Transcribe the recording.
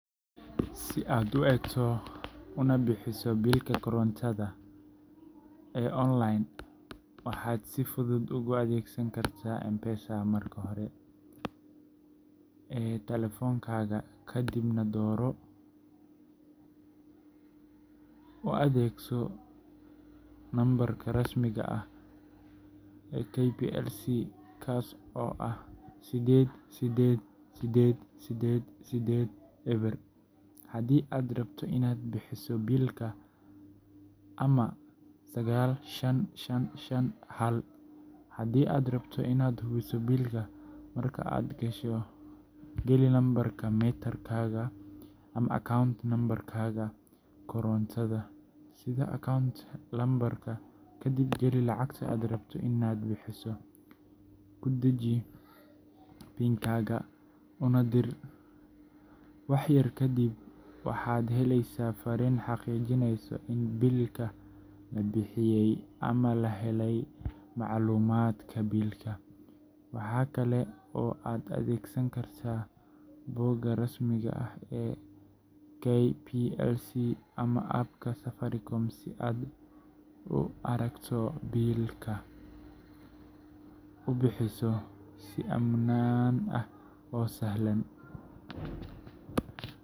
Si aad u eegto una bixiso biilka korontada ee KPLC online, waxaad si fudud uga adeegsan kartaa M-Pesaga. Marka hore, geli menu-ga M-Pesaga ee taleefankaaga, kadibna dooro “Lipa na M-Pesa” iyo “Paybill ”. U adeegso Paybillka number-ka rasmiga ah ee KPLC, kaas oo ah 888880 haddii aad rabto inaad bixiso biilka ama 95551 haddii aad rabto inaad hubiso biilka. Marka aad gasho Paybill-ka, geli nambarka meter-kaaga ama account-kaaga koronto sida account number, kadib geli lacagta aad rabto inaad bixiso, ku dhaji PIN-kaaga, una dir. Wax yar kadib waxaad helaysaa farriin xaqiijinaysa in biilka la bixiyay ama la helay macluumaadka biilka. Waxa kale oo aad adeegsan kartaa bogga rasmiga ah ee KPLC ama app-ka Safaricom si aad u aragto biilka, una bixiso si ammaan ah oo sahlan.